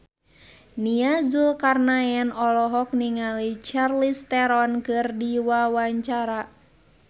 Nia Zulkarnaen olohok ningali Charlize Theron keur diwawancara